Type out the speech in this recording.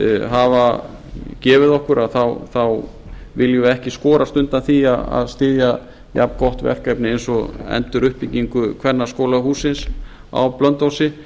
hafa gefið okkur þá viljum við ekki ekki skorast undan því að styðja jafngott verkefni eins og enduruppbyggingu kvennaskólahússins á blönduósi